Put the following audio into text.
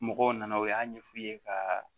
Mɔgɔw nana u y'a ɲɛ f'u ye ka